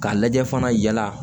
Ka lajɛ fana yala